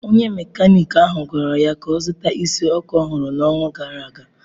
Onye Mekaniki ahụ gwara ya ka ọ zụta isi ọkụ ọhụrụ n'ọnwa gara aga.